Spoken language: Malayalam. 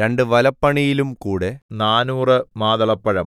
രണ്ട് വലപ്പണിയിലുംകൂടെ നാനൂറ് മാതളപ്പഴം